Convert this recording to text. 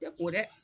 Tɛ ko dɛ